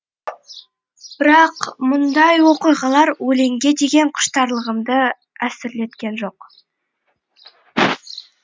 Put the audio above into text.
бірақ мұндай оқиғалар өлеңге деген құштарлығымды әлсіреткен жоқ